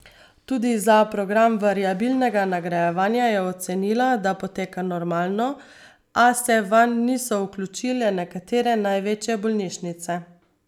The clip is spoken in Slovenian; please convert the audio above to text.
Tudi za program variabilnega nagrajevanja je ocenila, da poteka normalno, a se vanj niso vključile nekatere največje bolnišnice.